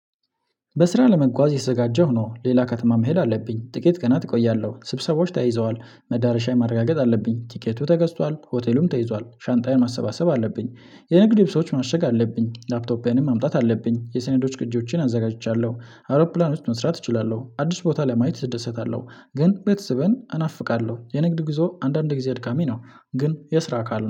በስራ ለመጓዝ እየተዘጋጀሁ ነው ሌላ ከተማ መሄድ አለብኝ ጥቂት ቀናት እቆያለሁ ስብሰባዎች ተይዘዋል መዳረሻ ማረጋገጥ አለብኝ ቲኬቱ ተገዝቷል ሆቴሉም ተይዟል ሻንጣዬን ማሰባሰብ አለብኝ። የንግድ ልብሶች ማሸግ አለብኝ ላፕቶፔንም ማምጣት አለብኝ የሰኔዶች ቅጆቼን አዘጋጅቻለሁ። አውሮፕላኖች መስራት እችላለሁ አዲስ ቦታ ላይ ማየት እደሰታለሁ ግን ቤተሰበን እናፍቃለሁ የንግድ ጉዞ አንዳንድ ጊዜ አድካሚ ነው። ግን የስራ አካል